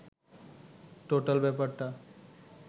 total ব্যাপারটা